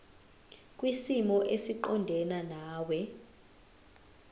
kwisimo esiqondena nawe